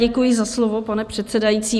Děkuji za slovo, pane předsedající.